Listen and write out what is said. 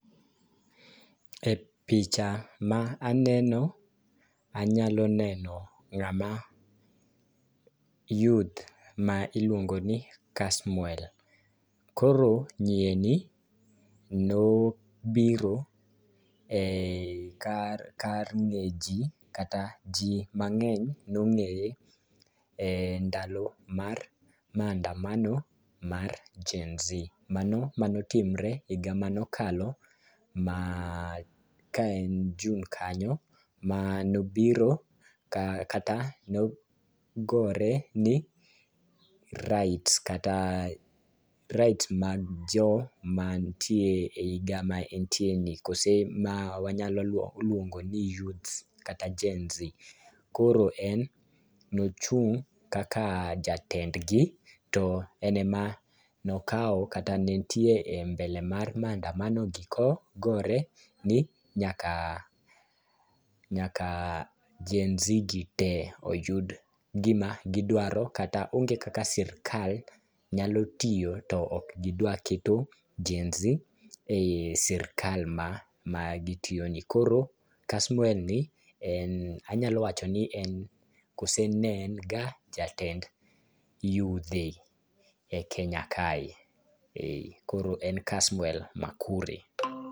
E picha ma aneno anyalo neno ng'ama youth ma iluongo ni Kasmuel. Koro nyieni nobiro e kar kar ng'e jii kata jii mang'eny nong'eye e ndalo mar mandamano mar gen z mano manotmre higa manokalo ma ka en june kanyo .Manobiro kata nogore ni rights kata rights mag jomantie e higa ma entie ni kose ma wanyalo luongo ni youth kata gen z . Koro en nochung' kaka jatendgi to en ema nokawo kata ne entie mbele mar mandamano gi ko gore nyaka nyaka gen z gi tee oyud gima gidwaro kata, onge kaka sirikal nyalo tiyo to ok gidwa keto gen Z e sirikal ma gitiyo ni .Koro kasmuel ni en anyalo wancho ni en koso ne en ga jatend yudhe e kenya kae koro en Kasmuel makure.